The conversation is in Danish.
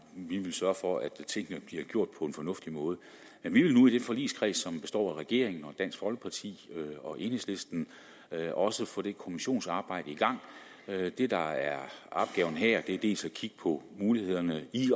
sørge for at tingene bliver gjort på en fornuftig måde men vi vil nu i den forligskreds som består af regeringen dansk folkeparti og enhedslisten også få det kommissionsarbejde i gang det der er opgaven her er dels at kigge på mulighederne i